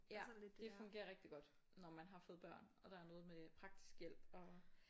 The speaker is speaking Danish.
Ja det fungerer rigtig godt når man har fået børn og der er noget med praktisk hjælp og